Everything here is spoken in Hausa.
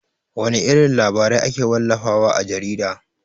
Wana irin labarai ake wallafa wa a jarida?